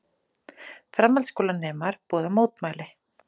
Framhaldsskólanemar boða mótmæli